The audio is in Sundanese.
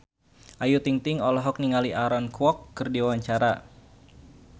Ayu Ting-ting olohok ningali Aaron Kwok keur diwawancara